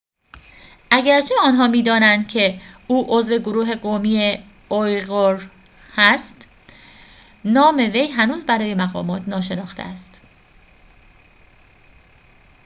اگرچه آنها می‌دانند که او عضو گروه قومی اویغور است نام وی هنوز برای مقامات ناشناخته است